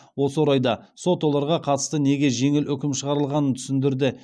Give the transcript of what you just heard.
осы орайда сот оларға қатысты неге жеңіл үкім шығарылғанын түсіндірді